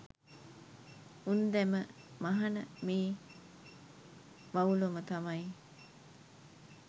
උන්දැම මහන මේ වවුලොම තමයි.